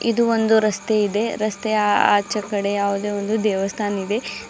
ಇದು ಒಂದು ರಸ್ತೆ ಇದೆ ರಸ್ತೆಯ ಆಚೆಕಡೆ ಯಾವುದೆ ಒಂದು ದೇವಸ್ಥಾನ್ ಇದೆ.